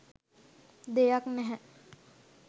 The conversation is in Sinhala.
දෙයක් නැහැ